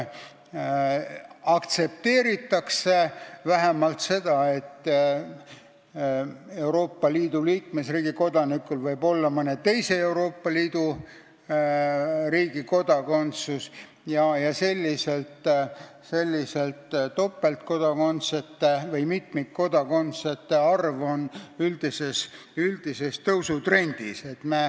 Aktsepteeritakse vähemalt seda, et Euroopa Liidu liikmesriigi kodanikul võib olla mõne teise Euroopa Liidu riigi kodakondsus, ja selliste topeltkodakondsete või mitmikkodakondsete arv on üldises tõusutrendis.